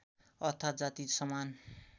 अर्थात्‌ जाति समान